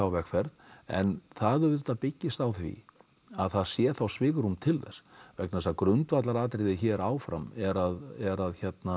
vegferð en það auðvitað byggist á því að það sé þá svigrúm til þess vegna þess að grundvallaratriði hér áfram er að er að